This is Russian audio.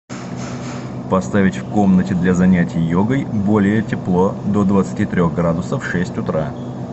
поставить в комнате для занятия йогой более тепло до двадцати трех градусов в шесть утра